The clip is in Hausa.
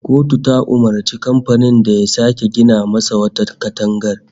Kotu ta umurci kamfanin da ya sake gina masa wata katangar